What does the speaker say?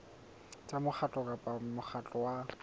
tsa mokgatlo kapa mokgatlo wa